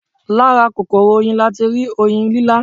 Lára kòkòrò Oyin latirí Oyin lílá